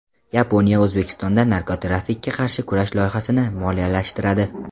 Yaponiya O‘zbekistonda narkotrafikka qarshi kurash loyihasini moliyalashtiradi.